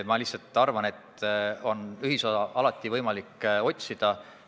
Ma lihtsalt arvan, et ühisosa on alati võimalik otsida.